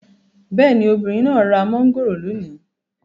Bẹ́ẹ̀ni, obìnrin náà ra mangoro lónìí